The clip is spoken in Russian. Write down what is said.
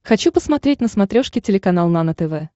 хочу посмотреть на смотрешке телеканал нано тв